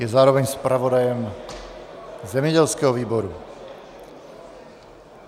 Je zároveň zpravodajem zemědělského výboru.